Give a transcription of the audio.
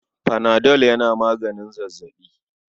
Panadol yana maganin zazzaɓi.